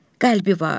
Qəlbi var.